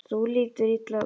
Þú lítur illa út